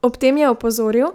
Ob tem je opozoril,